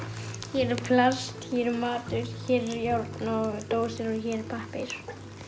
hér er plast hér er matur hér er járn og dósir og hér er pappír